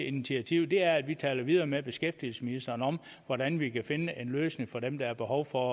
initiativ er at vi taler videre med beskæftigelsesministeren om hvordan vi kan finde en løsning for dem der har behov for